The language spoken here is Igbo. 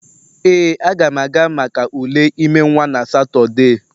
Ee, Aga m aga maka ule ime nwa na Satọde